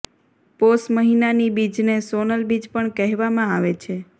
પોષ મહિનાની બીજને સોનલ બીજ પણ કહેવામા આવે છે